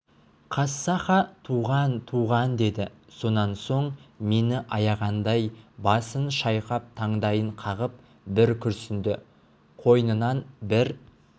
қассаха туған туған деді сонан соң мені аяғандай басын шайқап таңдайын қағып бір күрсінді қойнынан бір